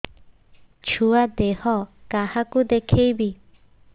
ଛୁଆ ଦେହ କାହାକୁ ଦେଖେଇବି